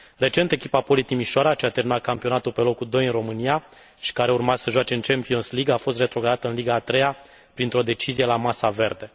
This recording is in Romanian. Recent, echipa Poli Timișoara, ce a terminat campionatul pe locul doi în România și care urma să joace în Champions' League, a fost retrogradată în Liga a treia printr o decizie la masa verde.